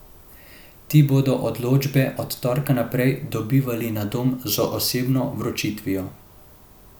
Ti bodo odločbe od torka naprej dobivali na dom z osebno vročitvijo.